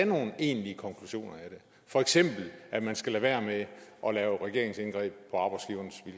nogen egentlige konklusioner af det for eksempel at man skal lade være med at lave regeringsindgreb